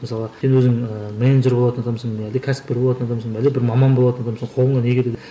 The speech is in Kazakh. мысалы сен өзің ііі менеджер болатын адамсың ба әлде кәсіпкер болатын адамсың ба әлде бір маман болатын адамсың ба қолыңнан не келеді